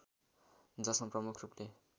जसमा प्रमुख रूपले